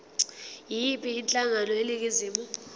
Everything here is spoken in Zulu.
yiyiphi inhlangano eningizimu